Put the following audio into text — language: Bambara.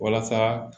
Walasa